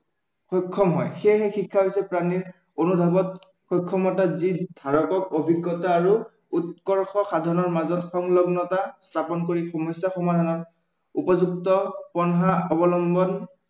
সক্ষম হয়, সেয়েহে প্ৰাণীৰ অভিজ্ঞতা আৰু উৎকৰ্ষ সাধনৰ মাজত সংলগ্নতা স্থাপন কৰি সমস্য়া সমাধানত উপযুক্ত পন্থা অৱলম্বনত